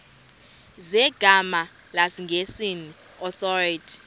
zegama lesngesn authorit